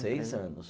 Seis anos.